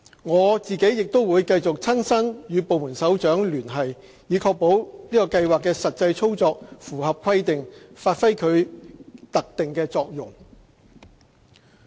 我亦會繼續親身與部門首長聯繫，以確保計劃的實際操作符合規定，發揮其特定作用。